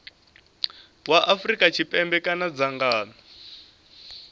wa afrika tshipembe kana dzangano